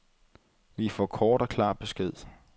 Vi får kort og klar besked.